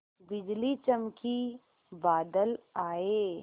बिजली चमकी बादल आए